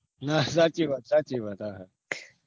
ના સાચીવાત સાચી વાત